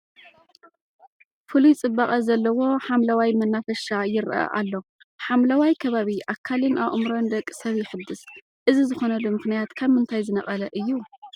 ፍሉይ ፅባቐ ዘለዎ ሓምለዋይ መናፈሻ ይርአ ኣሎ፡፡ ሓምለዋይ ከባቢ ኣካልን ኣእምሮን ደቂሰብ የሕድስ፡፡ እዚ ዝኾነሉ ምኽንያት ካብ ምንታይ ዝነቐለ እዩ?